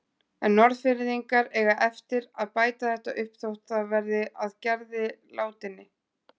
En Norðfirðingar eiga eftir að bæta þetta upp þótt það verði að Gerði látinni.